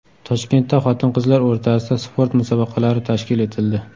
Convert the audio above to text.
Toshkentda xotin-qizlar o‘rtasida sport musobaqalari tashkil etildi.